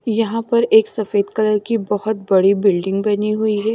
यहाँ पर एक सफेद कलर की बहुत बड़ी बिल्डिंग बनी हुई है।